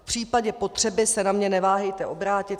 V případě potřeby se na mě neváhejte obrátit.